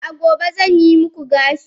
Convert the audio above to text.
a'a gobe zan yi muku gashi